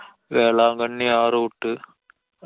വേളാങ്കണ്ണി ആ route.